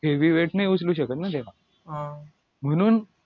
heavy wait नाही उचलू शकत ना तेव्हा म्हणून